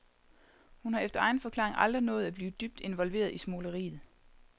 Hun har efter egen forklaring aldrig nået at blive dybt involveret i smugleriet.